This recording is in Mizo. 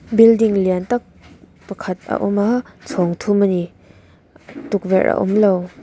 building lian tak pakhat a awm a chhawng thum a ni tukverh a awm lo.